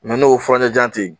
n'o furancɛ jan te yen